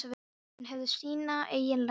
Hún hefði sína eigin lækna úti.